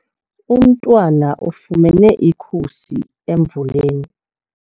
Umntwana ufumene ikhusi emvuleni.